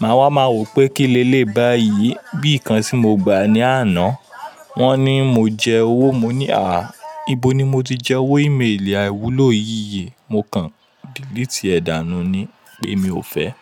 Màá wá máa wò pé kí ni eléyi báyìí. Bíi ikan tí mo gba ní àná wọ́n ní mo jẹ owó, mo ní à á, ibo ni mo ti jẹ owó ímélì àìwúlò yìí? Mo kàn delete ẹ̀ dànù ni pé mi ò fẹ́.